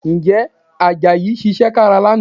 Ǹjẹ́ Àjàyí ṣiṣẹ́ kára lánàá?